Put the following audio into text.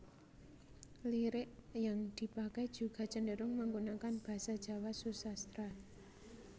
Lirik yang dipakai juga cenderung menggunakan basa Jawa susastra